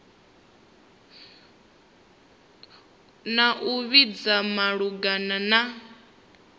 na u vhudzisa malugana na